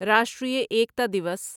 Rashtriya Ekta Diwas